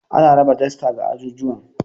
Ana raba dasta ga ajujuwan.